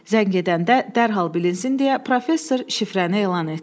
Zəng edəndə dərhal bilinsin deyə professor şifrəni elan etdi.